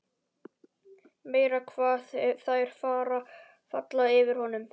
Meira hvað þær falla fyrir honum!